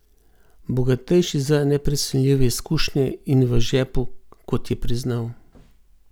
Bogatejši za neprecenljive izkušnje in v žepu, kot je priznal.